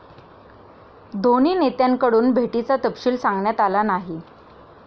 दोन्ही नेत्यांकडून भेटीचा तपशील सांगण्यात आला नाही.